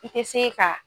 I tɛ se ka